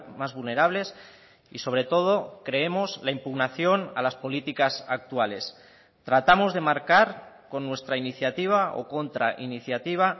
más vulnerables y sobre todo creemos la impugnación a las políticas actuales tratamos de marcar con nuestra iniciativa o contrainiciativa